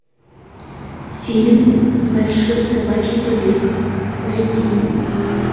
фильм большой собачий побег найди